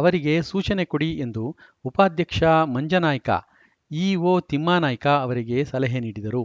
ಅವರಿಗೆ ಸೂಚನೆ ಕೊಡಿ ಎಂದು ಉಪಾದ್ಯಕ್ಷ ಮಂಜನಾಯ್ಕ ಇಓ ತಿಮ್ಮನಾಯ್ಕ ಅವರಿಗೆ ಸಲಹೆ ನೀಡಿದರು